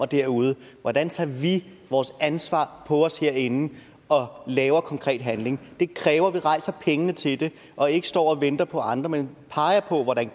derude hvordan tager vi vores ansvar på os herinde og laver konkret handling det kræver at vi rejser pengene til det og ikke står og venter på andre men peger på hvordan